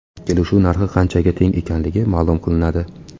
Kelishuv narxi qanchaga teng ekanligi ma’lum qilinadi.